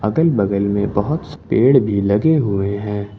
अगल बगल मे बहोत स पेड़ भी लगे हुए हैं।